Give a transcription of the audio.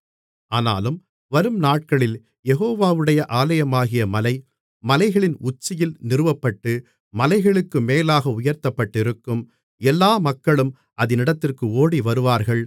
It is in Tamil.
ஆனாலும் வரும் நாட்களில் யெகோவாவுடைய ஆலயமாகிய மலை மலைகளின் உச்சியில் நிறுவப்பட்டு மலைகளுக்கு மேலாக உயர்த்தப்பட்டிருக்கும் எல்லா மக்களும் அதினிடத்திற்கு ஓடிவருவார்கள்